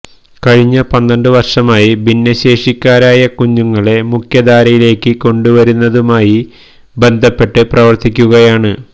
കഴിഞ്ഞ പന്ത്രണ്ടു വർഷമായി ഭിന്നശേഷിക്കാരായ കുഞ്ഞുങ്ങളെ മുഖ്യധാരയിലേക്കു കൊണ്ടുവരുന്നതുമായി ബന്ധപ്പെട്ട് പ്രവർത്തിക്കുകയാണ്